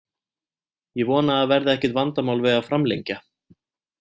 Ég vona að það verði ekkert vandamál við að framlengja.